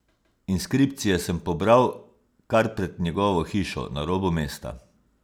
Inskripcije sem pobral kar pred njegovo hišo na robu mesta.